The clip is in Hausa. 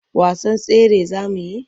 Wasan tsere za mu yi?